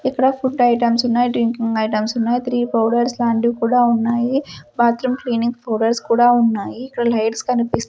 ఇక్కడ food items ఉన్నాయి drinking items ఉన్నాయి త్రీ పౌడర్స్ లాంటివి కూడా ఉన్నాయి బాత్రూం క్లీనింగ్ ఫొటోస్ కూడా ఉన్నాయి ఇక్కడ లైట్స్ కనిపిస్తూ --